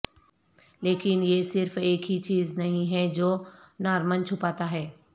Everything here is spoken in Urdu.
لیکن یہ صرف ایک ہی چیز نہیں ہے جو نارمن چھپاتا ہے